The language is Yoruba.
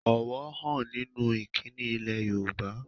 Ọ̀wọ̀ ń hàn nínú ìkíni ilẹ̀ Yorùbá